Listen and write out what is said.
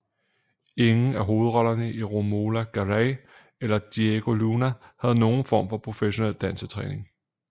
Ingen af hovedrollerne Romola Garai eller Diego Luna havde nogen form for professionel dansetræning